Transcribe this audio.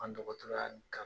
An dɔgɔtɔrɔya kanu.